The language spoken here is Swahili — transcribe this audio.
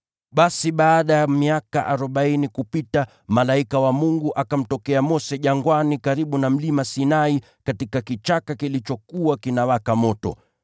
“Basi baada ya miaka arobaini kupita, malaika wa Mungu akamtokea Mose jangwani karibu na Mlima Sinai katika kichaka kilichokuwa kinawaka moto.